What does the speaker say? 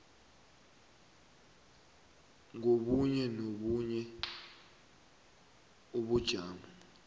kobunye nobunye ubujamo